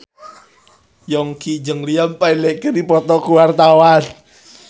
Yongki jeung Liam Payne keur dipoto ku wartawan